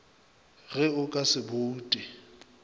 ge o ka se boute